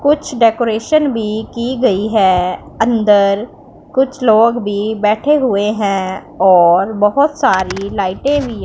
कुछ डेकोरेशन भी की गई है अंदर कुछ लोग भी बैठे हुए हैं और बहुत सारी लाईटें भी--